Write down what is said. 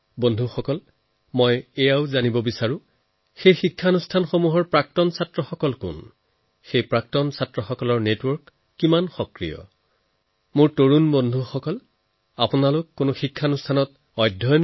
বন্ধুসকল ইয়াৰ উপৰিও আৰু এটা কথা জানিবলৈ মোৰ সদায় মন যায় যে সেই ইনষ্টিটিউচনৰ এলুমনাই আলুমনি কোন সেই প্ৰতিষ্ঠানৰ নিজৰ এলুমনাইৰে ৰেগুলাৰ এংগেজমেণ্টৰ ব্যৱস্থা আছে নেকি তেওঁলোকৰ এলুমনাই নেটৱৰ্ক কিমান জীৱন্তl